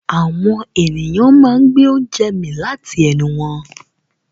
Àwọn ènìyàn máa ń gbé oúnjẹ mì láti ẹnu wọn.